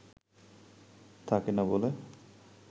থাকেনা বলে